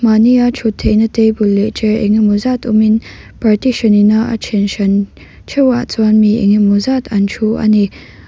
mahni a thutna theihna table leh chair engemaw zat awm in partition in a then hran theuhah chuan mi engemaw zat an thu ani.